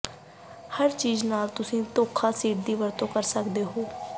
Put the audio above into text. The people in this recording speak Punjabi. ਹਰ ਚੀਜ ਨਾਲ ਤੁਸੀਂ ਧੋਖਾ ਸ਼ੀਟ ਦੀ ਵਰਤੋਂ ਕਰ ਸਕਦੇ ਹੋ